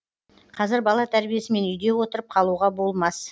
қазір бала тәрбиесімен үйде отырып қалуға болмас